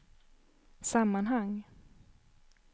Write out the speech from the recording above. sammanhang